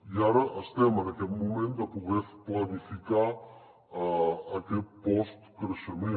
i ara estem en aquest moment de poder planificar aquest postcreixement